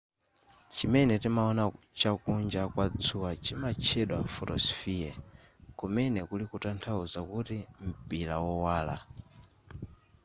chimene timaona chakunja kwa dzuwa chimatchedwa photosphere kumene kuli kutanthauza kuti mpira wowala